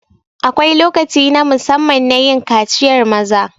Akwai lokaci na musamman nayin kaciyar maza